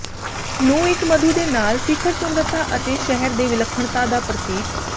ਨੂੰ ਇੱਕ ਮਧੂ ਦੇ ਨਾਲ ਸਿਖਰ ਸੁੰਦਰਤਾ ਅਤੇ ਸ਼ਹਿਰ ਦੇ ਵਿਲੱਖਣਤਾ ਦਾ ਪ੍ਰਤੀਕ